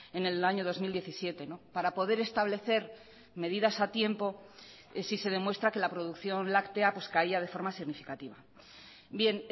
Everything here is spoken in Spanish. en el año dos mil diecisiete para poder establecer medidas a tiempo si se demuestra que la producción láctea pues caía de forma significativa bien